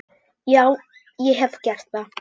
Já, ég hef gert það.